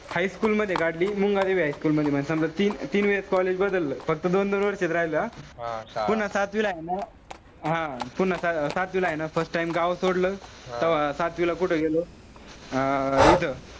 High school मध्ये काढली. Mumbadevi high school मध्ये. समजा तीन-तीन वेळेस college बदललं. फक्त दोन-दोन वर्ष राहायचा. पुन्हा सातवीला हाये ना. हा. पुन्हा सातवीला हाये ना, first time गाव सोडलं. तेव्हा सातवीला कुठं गेलो. अं इथं,